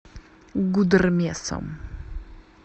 гудермесом